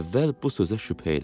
Əvvəl bu sözə şübhə elədim.